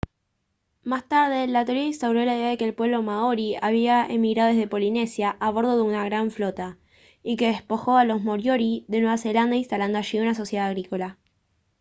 más tarde la teoría instauró la idea de que el pueblo maorí había emigrado desde polinesia a bordo de una gran flota y que despojó a los moriori de nueva zelanda instalando allí una sociedad agrícola